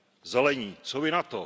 Zelení, co vy na